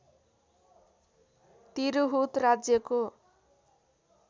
तिरहुत राज्यको